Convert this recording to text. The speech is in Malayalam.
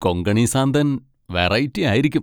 കൊങ്കണി സാന്തൻ വെറൈറ്റി ആയിരിക്കും.